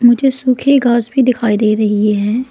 मुझे सूखी घास भी दिखाई दे रही है।